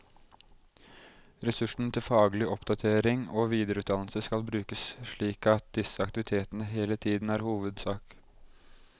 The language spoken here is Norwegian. Ressursene til faglig oppdatering og videreutdannelse skal brukes slik at disse aktivitetene hele tiden er hovedsak.